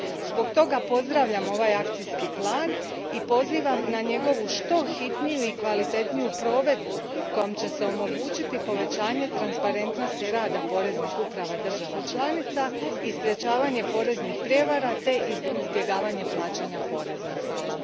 Zbog toga pozdravljam ovaj akcijski plan i pozivam na njegovu što hitniju i kvalitetniju provedbu kojom će se omogućiti povećanje transparentnosti rada poreznih uprava država članica i sprječavanje poreznih prijevara te izbjegavanje plaćanja poreza.